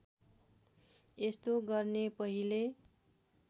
यस्तो गर्ने पहिले